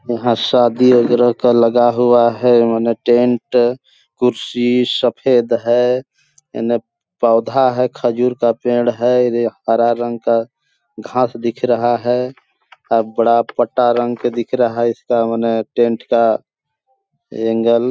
यहाँ शादी वगेरा का लगा हुआ है मने टेंट कुर्सी सफ़ेद है एने पौधा है खजूर का पेड़ है हरा रंग का घास दिख रहा है अब बड़ा पट्टा रंग के दिख रहा इसका मने टेंट एंगल --